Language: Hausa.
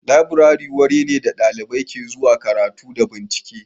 Laburare wuri ne da ɗalibai ke zuwa karatu da bincike